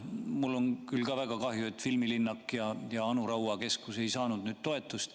Mul on ka küll väga kahju, et filmilinnak ja Anu Raua keskus ei saanud toetust.